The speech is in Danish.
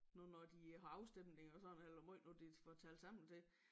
Nu når de har afstemning og sådan eller hvor måj nu de får det talt sammen til